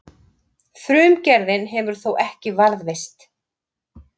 Frumgerðin hefur þó ekki varðveist.